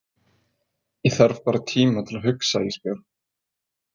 Ég þarf bara tíma til að hugsa Ísbjörg.